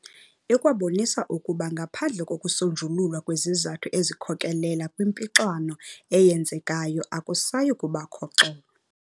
Ikwabonisa ukuba ngaphandle kokusonjululwa kwezizathu ezikhokelela kwimpixano eyenzekayo akusayi kubakho xolo.